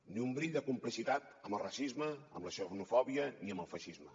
ni un bri de complicitat amb el racisme amb la xenofòbia ni amb el feixisme